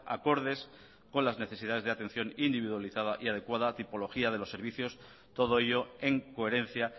acordes con las necesidades de atención individualizada y adecuada tipología de los servicios todo ello en coherencia